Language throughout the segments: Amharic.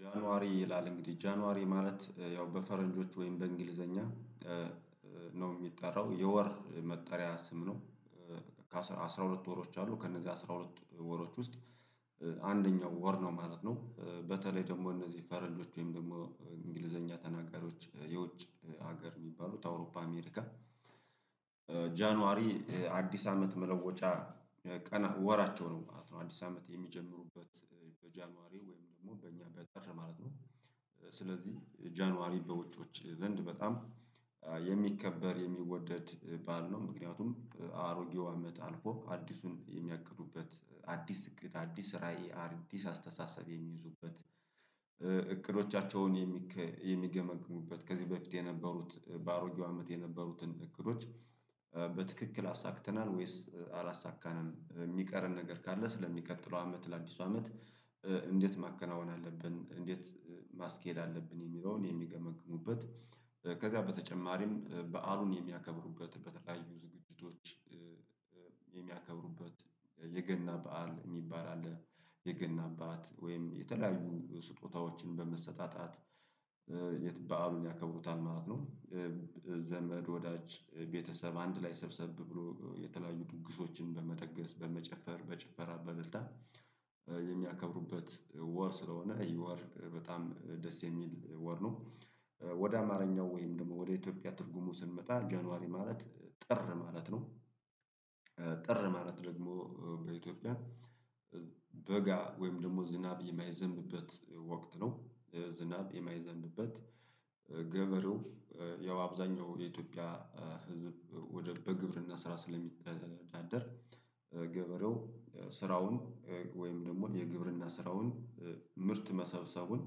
ጃንዋሪ ይላል እንግዲህ ጃንዋሪ ማለት ያው በፈረንጆች ወይም በእንግሊዘኛ ነው የሚጠራው የወር መጠሪያ ስም ነው ከአሥራ ሁለት ወሮች አሉ ከነዚህ አስራ ሁለት ወሮች ውስጥ አንደኛው ወር ነው ማለት ነው በተለይ ደግሞ እነዚህ ፈረንጆች ወይም ደግሞ እንግሊዘኛ ተናጋሪዎች የውጭ ሀገር የሚባሉት አውሮፓ አሜሪካ ጃንዋሪ አዲስ አመት መለወጫ ወራቸው ነው ማለት ነው፤ አዲስ አመት የሚጀምሩበት በጃንዋሪ ወይም ደግሞ በእኛ በጥር ማለት ነው ስለዚህ ጃንዋሪ በውጮች ዘንድ በጣም የሚከበር የሚወደድ በዓል ነው ምክንያቱም አሮጌው አመት አልፎ አዲሱን የሚያቅዱበት አዲስ እቅድ አዲስ ራዕይ አዲስ አስተሳሰብ የሚይዙበት እቅዶቻቸውን የሚገመግሙበት ከዚህ በፊት የነበሩት በአሮጌው አመት የነበሩትን እቅዶች አሳክተናል ወይስ አላሳካንም የሚቀረን ነገር ካለ ስለሚቀጥለው አመት ለአዲሱ አመት እንዴት ማከናወን አለብን እንዴት ማስኬድ አለብን የሚለውን የሚገመግሙበት ከዛ በተጨማሪም በዓሉን የሚያከብሩበት በተለያዩ ዝግጅቶች የሚያከብሩበት የገና በዓል የሚባል አለ የገና በዓት ወይም የተለያዩ ስጦታዎችን በመሰጣጣት የት በዓሉን ያከብሩታል ማለት ነው ዘመድ ወዳጅ ቤተሰብ አንድ ላይ ሰብሰብ ብሎ የተለያዩ ድግሶችን በመደገስ በመጨፈር በጭፈራ በልልታ የሚያከብሩበት ወር ስለሆነ ይህ ወር በጣም ደስ የሚል ወር ነው፤ ወደ አማርኛው ወይም ደግሞ ወደ ኢትዮጵያ ትርጉሙ ስንመጣ ጀንዋሪ ማለት ጥር ማለት ነው፤ ጥር ማለት ደግሞ በኢትዮጵያ በጋ ወይም ደግሞ ዝናብ የማይዘንበት ወቅት ነው፤ ዝናብ የማይዘንበት ገበሬው ያው አብዛኛው የኢትዮጵያ ህዝብ ወደ በግብርና ስራ ስለሚተዳደር ገበሬው ስራውን ወይም ደግሞ የግብርና ስራውን ምርት መሰብሰቡን፣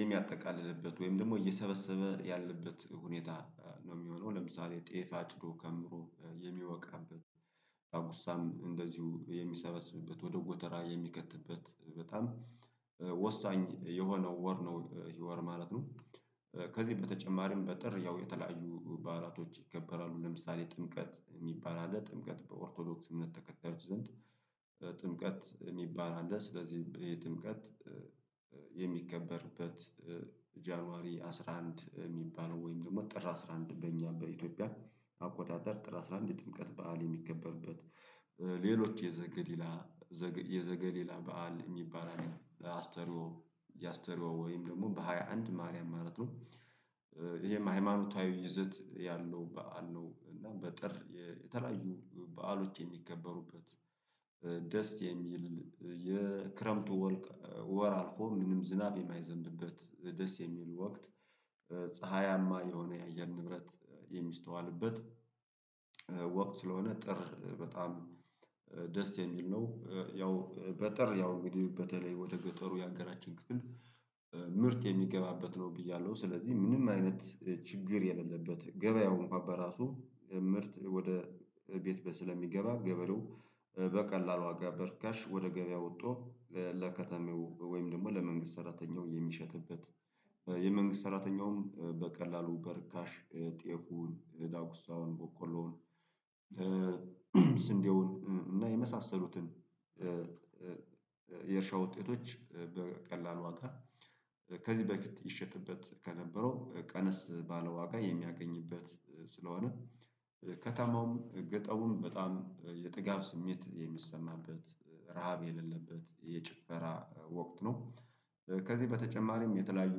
የሚያጠቃልልበት ወይም ደግሞ እየሰበሰበ ያለበት ሁኔታ ነው የሚሆነው ለምሳሌ ጤፍ አጭዶ ከምሮ የሚወቃበት ዳጉሳም እንደዚሁ የሚሰበስብበት ወደ ጎተራ የሚከትበት በጣም ወሳኝ የሆነው ወር ነው ይህ ወር ማለት ነው ከዚህ በተጨማሪም በጥር ያው የተለያዩ ባህላቶች ይከበራሉ ለምሳሌ ጥምቀት የሚባል አለ ጥምቀት በኦርቶዶክስ እምነት ተከታዮች ዘንድ ጥምቀት የሚባል አለ ስለዚህ የጥምቀት የሚከበርበት ጃኑዋሪ አስራ አንድ የሚባለው ወይም ደግሞ ጥር አስራ አንድ በእኛ በኢትዮጵያ አቆጣጠር ጥር አስራ አንድ ጥምቀት በዓል የሚከበርበት ሌሎች የዘገሊላ የዘገሊላ በዓል የሚባለው አስተርዮ ያስተርዮ ወይም ደግሞ በሃያ አንድ ማርያም ማለት ነው ይሄ ሃይማኖታዊ ይዘት ያለው በዓል ነው እና በጥር የተለያዩ በዓሎች የሚከበሩበት ደስ የሚል የክረምቱ ወር አልፎ ምንም ዝናብ የማይዘንብበት ደስ የሚል ወቅት ፀሀያማ የሆነ የአየር ንብረት የሚስተዋልበት ወቅት ስለሆነ ጥር በጣም ደስ የሚል ነው ያው በጥር ያው እንግዲህ በተለይ ወደ ገጠሩ ያገራችን ክፍል ምርት የሚገባበት ነው ብያለሁ ስለዚህ ምንም አይነት ችግር የሌለበት ገበያው እንኳን በራሱ ምርት ወደ ቤት በስለሚገባ ገበሬው በቀላሉ ዋጋ በርከሽ ወደ ገበያ ወጦ ለከተሜው ወይም ደግሞ ለመንግስት ሰራተኛው የሚሸጥበት የመንግስት ሰራተኛውም በቀላሉ በርካሽ ጤፉን ዳጉሳውን ቦቆሎውን ስንዴውን እና የመሳሰሉትን የእርሻ ውጤቶች በቀላሉ ዋጋ ከዚህ በፊት ይሸጥበት ከነበረው ቀነስ ባለዋጋ የሚያገኝበት ስለሆነ ከከተማውም ገጠሩም በጣም የጥጋብ ስሜት የሚሰማበት ረሃብ የሌለበት የጭፈራ ወቅት ነው ከዚህ በተጨማሪም የተለያዩ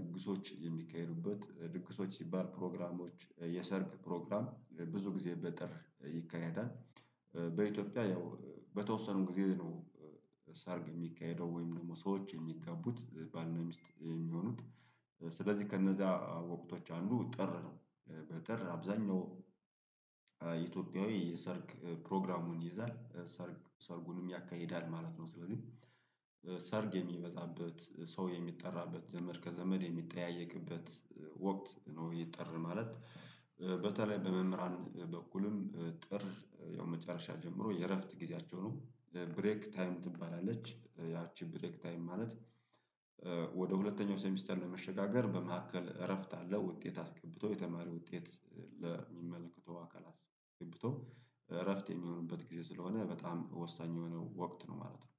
ድግሶች የሚካሄዱበት ድግሶች ሲባል ፕሮግራሞች የሰርግ ፕሮግራም ብዙ ጊዜ በጥር ይካሄዳል፤ በኢትዮጵያ ያው በተወሰኑም ጊዜ ነው ሰርግ የሚካሄደው ወይም ደግሞ ሰዎች የሚጋቡት ባል እና ሚስት የሚሆኑት ስለዚህ ከእነዚያ ወቅቶች አንዱ ጥር ነው በጥር አብዛኛው ኢትዮጵያዊ የሰርግ ፕሮግራሙን ይይዛል ሰርግ ሰርጉንም ያካሂዳል ማለት ነው ስለዚህ ሰርግ የሚበዛበት ሰው የሚጠራበት ዘመድ ከዘመድ የሚጠያየቅበት ወቅት ነው ይህ ጥር ማለት በተለይ በመምህራን በኩልም ጥር ያው መጨረሻ ጀምሮ የእረፍት ጊዜያቸው ነው ብሬክ ታይም ትባላለች ያቺ ብሬክ ታይም ማለት ወደ ሁለተኛው ሰሚስተር ለመሸጋገር በመካከል እረፍት አለ ውጤት አስገብቶ የተማሪ ውጤት ለሚመለከተው አካል አስገብቶ እረፍት የሚሆንበት ጊዜ ስለሆነ በጣም ወሳኝ የሆነው ወቅት ነው ማለት ነው።